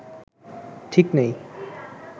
ঠিক নেই